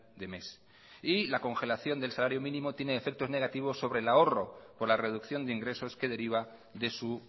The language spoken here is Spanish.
de mes y la congelación del salario mínimo tiene efectos negativos sobre el ahorro por la reducción de ingresos que deriva de su